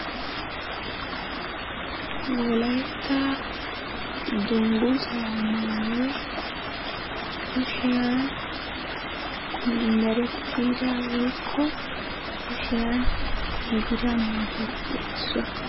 Wolaytta dunguuzaa maayoy kushiyan merettida woykko kushiyan giigida maayuwappe issuwa.